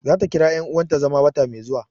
Za ta kira yan uwanta zama wata mai zuwa